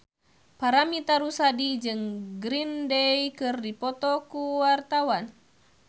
Paramitha Rusady jeung Green Day keur dipoto ku wartawan